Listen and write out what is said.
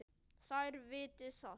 Þær viti það.